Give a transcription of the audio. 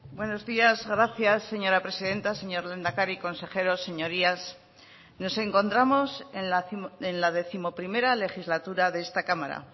buenos días gracias señora presidenta señor lehendakari consejeros señorías nos encontramos en la décimoprimera legislatura de esta cámara